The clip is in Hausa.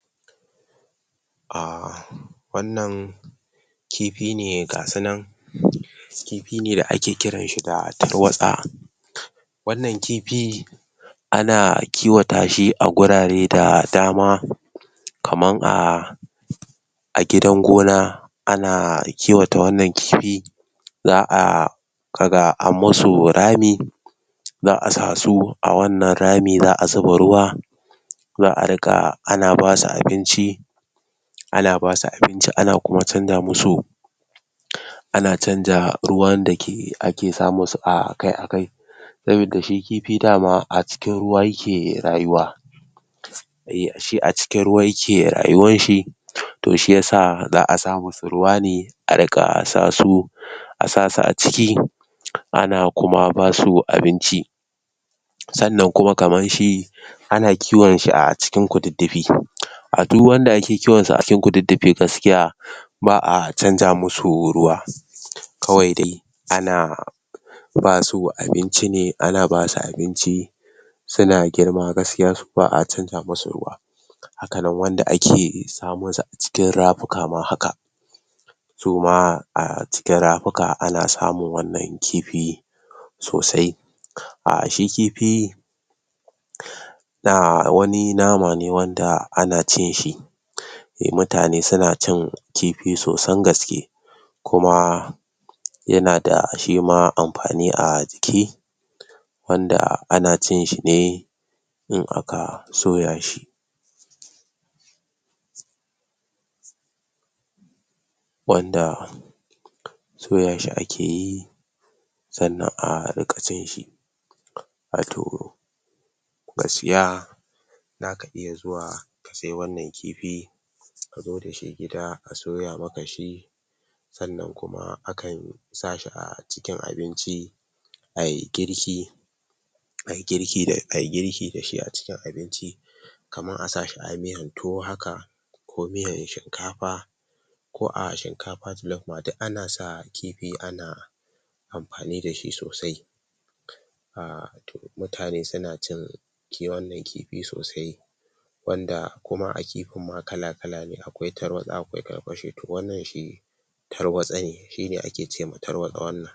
ahh wannan kifi ne gasu nan? kifi ne da ake kiran shi da tarwatsa? wannan kifi ana kiwata shi a gurare da dama kaman a a gidan gona ana kiwata wannan kifi za'a kaga an masu rami za'a su a wannan rami za'a zuba ruwa za'a riƙa ana basu abinci ana basu abinci ana kuma canza musu ana canza ruwan da ke ake sa musu akai akai sabida shi kifi daman a cikin ruwa yake rayuwa shi a cikin ruwa yake rayuwar shi toh shiyasa za'a sa musu ruwa ne a riƙa sa su a sa su a ciki ana kuma basu abinci sannan kuma kaman shi ana kiwan shi a cikin kududdufi a du wanda ake kiwansu a cikin kududdufi gaskiya ba'a canja masu ruwa kawai dai ana ana ba su abinci ne ana ba su abinci suna girma gaskiya su ba'a canja masu ruwa hakanan wanda ake samosu a cikin rafuka ma haka suma a cikin rafuka ana samun wannan kifi sosai ahh shi kifi? na wani nama ne wanda ana cin shi mutane suna cin kifi sosan gaske kuma yana da shima amfani a jiki wanda anacin shi ne in aka soya shi wanda soya shi akeyi sannan a riƙa cin shi ahtoh ka siya zakan iya zuwa sai wannan kifi ka je da shi gida a soya maka shi sannan kuma aka sa shi acikin abinci ayi girki ayi girki da ayi girki dashi a cikin abinci kamar a sahi a miyar tuwo haka ko miyan shinkafa ko a shinkafa jalof ma duk ana kifi ma ana amfaani dashi sosai ahh mutane suna cin ke wannan kifi sosai wanda kuma a kifin ma kalakala ne akwai tarwaɗa akwai karfashe to wannan shi tarwatse ne shine ake ce ma tarwatsa wannan